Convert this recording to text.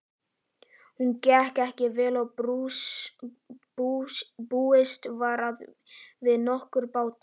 Hún gekk vel og búist var við nokkrum bata.